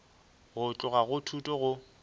go tloga go thuto go